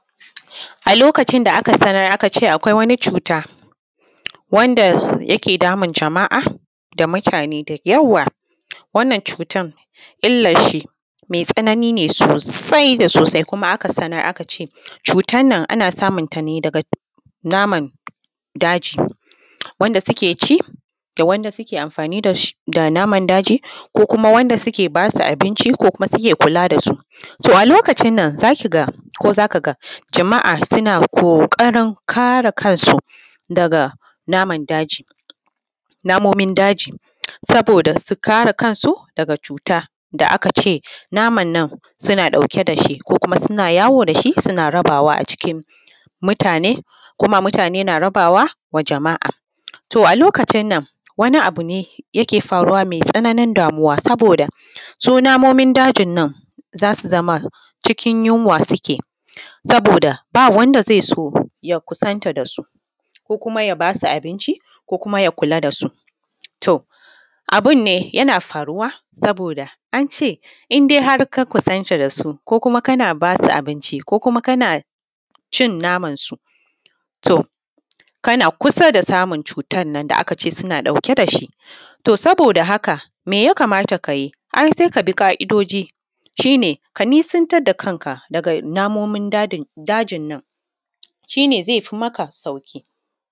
a lokacin da aka sanar aka ce akwai wani cuta wanda yake damun jama’a da mutane da yawa wannan cutan illanshi mai tsanani ne sosai da sosai kuma aka sanar aka ce cutar nan ana samunta ne daga naman daji wanda suke ci da wanda suke amfani da naman daji ko kuma wanda suke ba su abinci ko kuma suke kula da su to a lokacin nan za ki ga ko za ka ga jama’a suna ƙoƙarin kare kansu daga naman daji namomin daji saboda su kare kansu daga cuta da aka ce naman nan suna ɗauke da shi ko kuma suna yawo da shi suna rabawa a cikin mutane ko ma mutane na rabawa wa jama’a to a lokacin nan wani abu ne yake faruwa mai tsananin damuwa saboda su namomin dajin nan za su zama cikin yunwa suke saboda ba wanda zai so ya kusanta da su ko kuma ya ba su abinci ko kuma ya kula da su to abin ne yana faruwa saboda an ce in dai har ka kusanta da su ko kuma kana ba su abinci ko kuma kana cin namansu to kana kusa da samun cutan nan da aka ce suna ɗauke da shi to saboda haka me ya kamata ka yi ai sai ka bi ƙa’idoji shi ne ka nisantar da kanka daga namomin dajin nan shi ne zai fi maka sauƙi